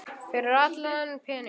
Fyrir allan þennan pening?